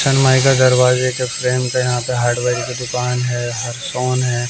दरवाजे के फ्रेम का यहां पे हार्डवेयर की दुकान है हैं।